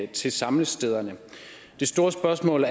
til samlestederne det store spørgsmål